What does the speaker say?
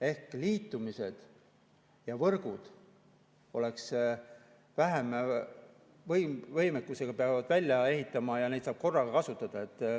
Ehk liitumised ja võrgud peaksid, et neid saab korraga kasutada.